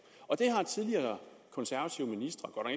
og tidligere konservative ministre